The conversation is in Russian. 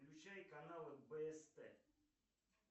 включай каналы бст